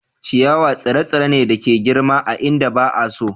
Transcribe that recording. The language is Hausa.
Ciyawa tsire-tsire ne da ke girma a inda ba a so.